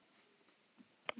Öll úrslit má sjá hérna.